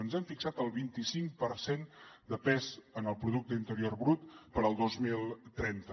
ens hem fixat el vint i cinc per cent de pes en el producte interior brut per al dos mil trenta